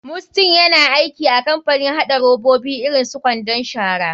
Mustyn yana aiki a kamapanin haɗa robabi irin su kwandon shara.